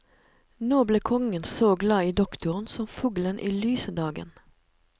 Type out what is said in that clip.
Nå ble kongen så glad i doktoren som fuglen i lyse dagen.